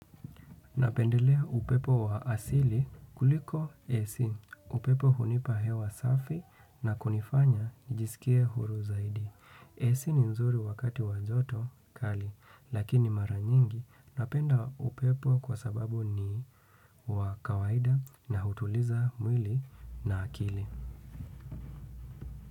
Napendelea upepo wa asili kuliko AC. Upepo hunipa hewa safi na kunifanya nijiskie huru zaidi. Ac ni nzuri wakati wa joto kali lakini mara nyingi napenda upepo kwa sababu ni wa kawaida na hutuliza mwili na akili.